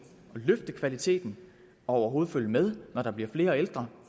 at løfte kvaliteten og overhovedet følge med når der bliver flere ældre